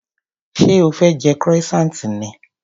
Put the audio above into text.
Ṣé o fẹ́ jẹ croissant ni?